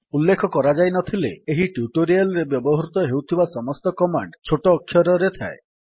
ଉଲ୍ଲେଖ କରାଯାଇନଥିଲେ ଏହି ଟ୍ୟୁଟୋରିଆଲ୍ ରେ ବ୍ୟବହୃତ ହେଉଥିବା ସମସ୍ତ କମାଣ୍ଡ୍ ଛୋଟ ଅକ୍ଷରରେ ଥାଏ